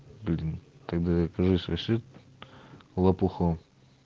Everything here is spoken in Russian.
гадина ты докажи свой след лопухом